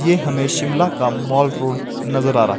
ये हमें शिमला का मॉल रोड नजर आ रहा--